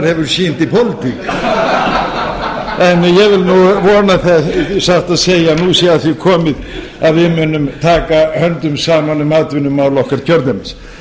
annar hefur sýnt í pólitík en ég vil vona það satt að segja að nú sé að því komið að við munum taka höndum saman um atvinnumál okkar kjördæmis